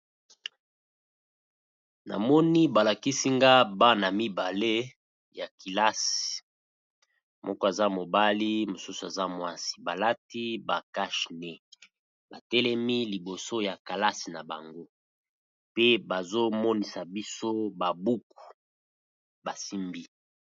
Na moni ba lakisi nga bana mibale ya kilasi, moko aza mobali mosusu aza mwasi balati ba cache nez ba telemi liboso ya kalasi na bango pe bazo monisa biso ba buku basimbi.